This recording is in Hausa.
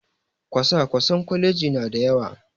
Kwasa-kwasen kwalaji na da yawa